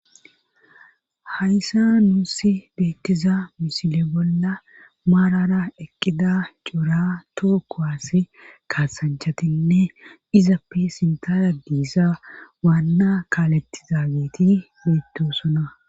Hayssa nuussi beettiza misile bolla maarara eqqida coura tookowass kaasanchatinne izappe sintara diisa waanna kaalettizaageti beettosona.